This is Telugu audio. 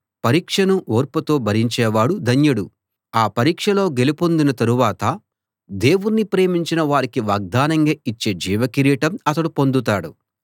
పరీక్షను ఓర్పుతో భరించేవాడు ధన్యుడు ఆ పరీక్షలో గెలుపొందిన తరవాత దేవుణ్ణి ప్రేమించిన వారికి వాగ్దానంగా ఇచ్చే జీవ కిరీటం అతడు పొందుతాడు